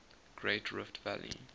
great rift valley